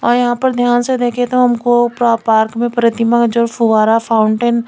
और यहाँ पर ध्यान से देखे तो हमको प्रो-पार्क में पर्थिमा जो फुआरा फाउंटेन --